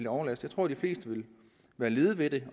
overlast jeg tror de fleste ville være lede ved det